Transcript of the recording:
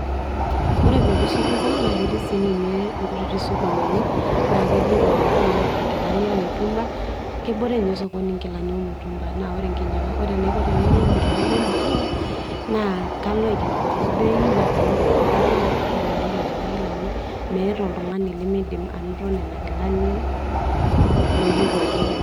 Ore pooki supuko naa ketii sii ninye nkuti sokonini naa ketii iltung'anak oomirr nkilani e mutumba, kebore ninye osokoni nkilani e mutumba ore enaiko tenainyiang'u nkilani e mutumba naa kalo aikilikuanu bei naa kayilo ajo katum amu kelelek nena kilani meeta oltijng'ani lemiidim anoto nena kilani, oloyieu ake ninye.